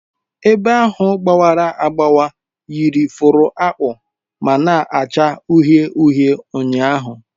Ebe ahụ gbawara agbawa yiri fụrụ akpụ ma na-acha uhie uhie ụnyahụ